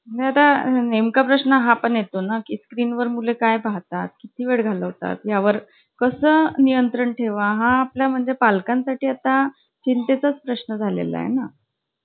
आणि तू तू मराठी शाळेतच होती का ग?